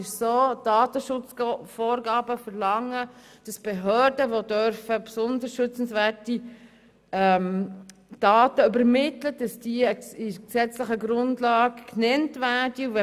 Die Datenschutzvorgaben verlangen, dass Behörden, die besonders schützenswerte Daten übermitteln dürfen, in der gesetzlichen Grundlage genannt werden.